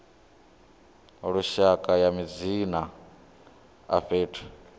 lushaka ya madzina a fhethu